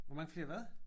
Hvor mange flere hvad?